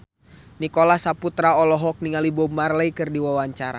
Nicholas Saputra olohok ningali Bob Marley keur diwawancara